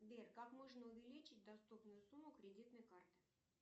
сбер как можно увеличить доступную сумму кредитной карты